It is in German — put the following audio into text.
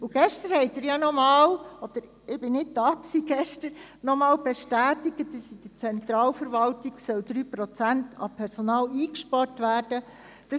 Ich war gestern nicht da, aber gestern haben Sie ja nochmals bestätigt, dass in der Zentralverwaltung 3 Prozent des Personals eingespart werden soll.